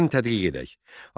Gəlin tədqiq edək.